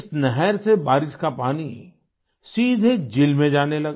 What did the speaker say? इस नहर से बारिश का पानी सीधे झील में जाने लगा